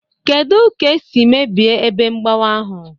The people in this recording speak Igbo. Kedu ka e siri mebie ebe mgbawa ahụ?